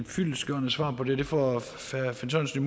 et fyldestgørende svar på det det får herre finn sørensen